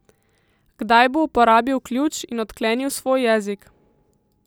Kdaj bo uporabil ključ in odklenil svoj jezik.